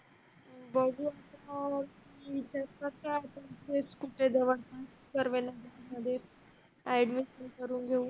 बघू हं करून घेऊ